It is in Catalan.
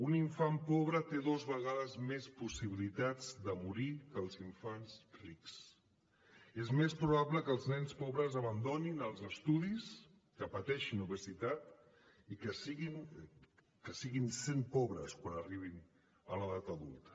un infant pobre té dues vegades més possibilitats de morir que els infants rics és més probable que els nens pobres abandonin els estudis que pateixin obesitat i que segueixin sent pobres quan arribin a l’edat adulta